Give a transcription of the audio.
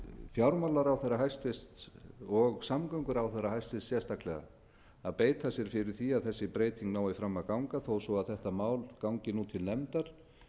fjármálaráðherra hæstvirtur og samgönguráðherra hæstvirtur sérstaklega að beita sér fyrir því að þessi breyting nái fram að ganga þó svo þetta mál gangi nú til nefndar